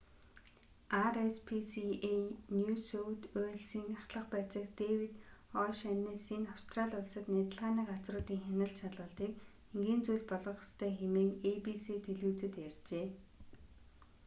rspca нью сөүт уэльсийн ахлах байцаагч дэвид о'шаннесси нь австрали улсад нядалгааны газруудын хяналт шалгалтыг энгийн зүйл болгох ёстой хэмээн эйбиси телевизэд ярьжээ